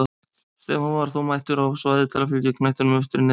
Stefán var þó mættur á svæðið til að fylgja knettinum eftir í netið!